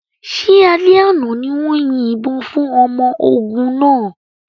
Ṣé alẹ́ àná ni wọ́n yin ìbọn fún ọmọ ogun náà?